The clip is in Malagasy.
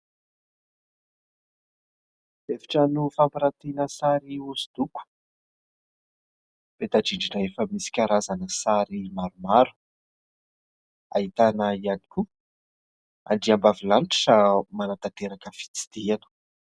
Efitrano fampirantiana sary hosodoko ; peta-drindrina efa misy karazana sary maromaro ; ahitana ihany koa andriambavilanitra manatanteraka fitsidihana.